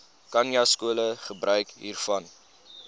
khanyaskole gebruik hiervan